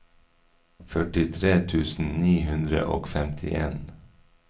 førtitre tusen ni hundre og femtien